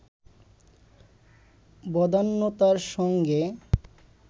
বদান্যতার সঙ্গে